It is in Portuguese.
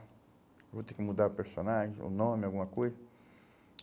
Eu vou ter que mudar o personagem, o nome, alguma coisa.